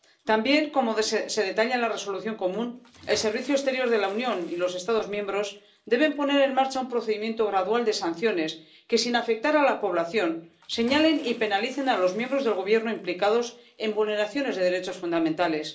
También, como se detalla en la Resolución común, el Servicio Europeo de Acción Exterior de la Unión y los Estados miembros deben poner en marcha un procedimiento gradual de sanciones que, sin afectar a la población, señalen y penalicen a los miembros del gobierno implicados en vulneraciones de los derechos fundamentales.